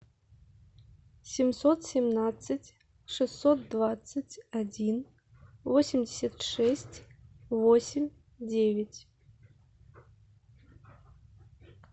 семьсот семнадцать шестьсот двадцать один восемьдесят шесть восемь девять